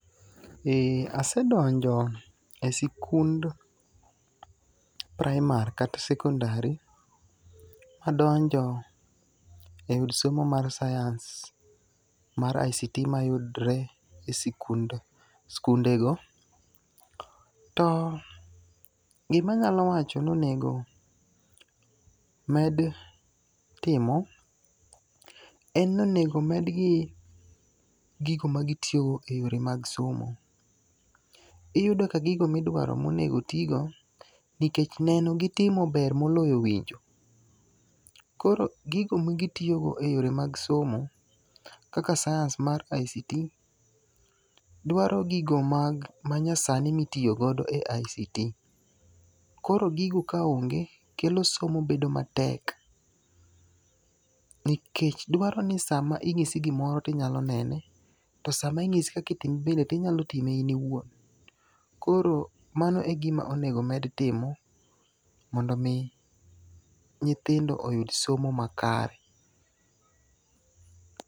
Asedonjo e sikund praimar kata sekondari madonjo e od somo mar sians mar ICT mayudore e skundego. To gimanyalo wacho ni onego med timo en ni onego medgi gigo ma gitiyogo e yore mag somo. Iyudo ka gigo midwaro monego tigo, nikech neno gi timo ber moloyo winjo. Koro gigo magitiyogo e yore mag somo kaka sias mar ICT dwaro gigo manyasani mitiyogo e ICT. Koro gigo ka onge kelo somo bedo matek. Nikech dwaro ni sama inyisi gimoro tidwaro nene. Tosaminyisi kaka itime tinyalo time in iwuon. Koro mano e gima onego med timo mondo nyithindo oyud somo makare.